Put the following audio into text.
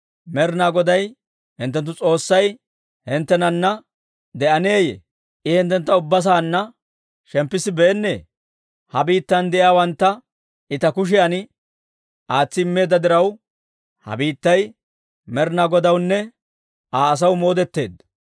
«Med'inaa Goday hinttenttu S'oossay hinttenana de'enneeyye? I hinttentta ubba saanna shemppissibeennee? Ha biittan de'iyaawantta I ta kushiyan aatsi immeedda diraw, ha biittay Med'inaa Godawunne Aa asaw moodetteedda.